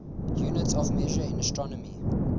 units of measure in astronomy